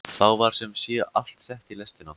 Þá var sem sé allt sett í lestina.